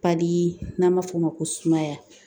n'an b'a f'o ma ko sumaya